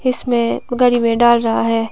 इसमें गाड़ी में डाल रहा है।